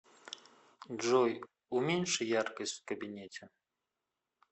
джой уменьши яркость в кабинете